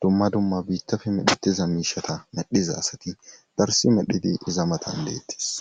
dumma dumma biittafe medhetiza miishata medhiza asati darsi medhidi iza matan deettis